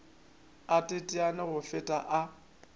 a teteane go feta a